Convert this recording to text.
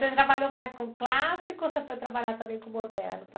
Você trabalhou mais com clássico ou você foi trabalhar também com moderno?